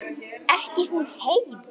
Ekki hún Heiða.